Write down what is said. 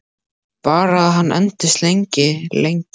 Bara að hann endist lengi, lengi.